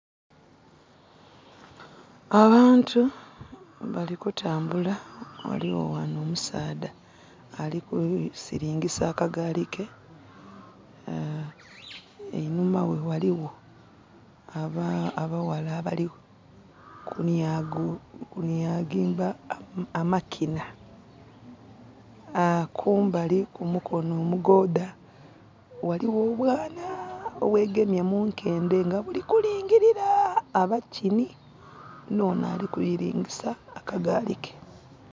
Abantu bali kutambula. Ghaligho ghanho omusaadha ali kusilingisa akagali ke. Einhuma ghe ghaligho abaghala abali kunyaginga amakinha. Kumbali kumukonho omugodha ghaligho obwaana obwegemye munkendhe balikulingilira abakinhi.